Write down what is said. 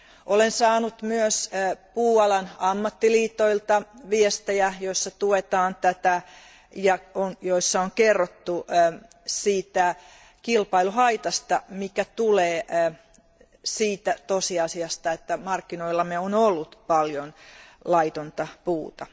Olen saanut myös puualan ammattiliitoilta viestejä, joissa tuetaan tätä ja joissa on kerrottu siitä kilpailuhaitasta, joka tulee siitä, että markkinoillamme on ollut paljon laitonta puuta.